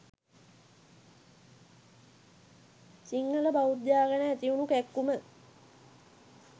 සිංහල බෞද්ධයා ගැන ඇතිවුණු කැක්කුම.